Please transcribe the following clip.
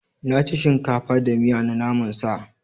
Na ci shinkafa da miya na naman sa.